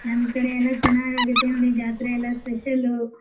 ನಮ್ ಕಡೆ ಎಲ್ಲಾ ಚೆನ್ನಾಗ್ ಆಗುತ್ತೇ ನೋಡಿ ಜಾತ್ರೆ ಎಲ್ಲಾ special ಉ.